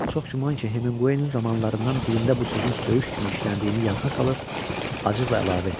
Çox güman ki, Hemingwayın romanlarından birində bu sözün söyüş kimi işləndiyini yadına salıb, acıqla əlavə etdi.